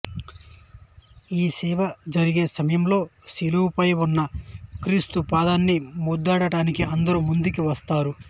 ఈ సేవ జరిగే సమయంలో శిలువ పై ఉన్న క్రీస్తు పాదాన్ని ముద్దాడటానికి అందరూ ముందికి వస్తారు